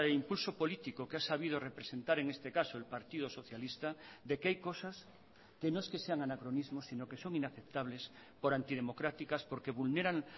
impulso político que ha sabido representar en este caso el partido socialista de que hay cosas que no es que sean anacronismos sino que son inaceptables por antidemocráticas porque vulneran